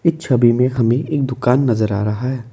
Etch छवि में हमें एक दुकान नजर आ रहा है।